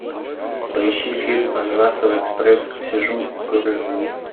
поищи фильм ананасовый экспресс сижу курю